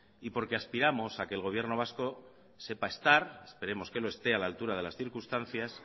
aspiramos a que el gobierno vasco sepa estar esperemos que lo esté a la altura de las circunstancias